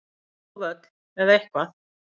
Bara útá völl, eða eitthvað.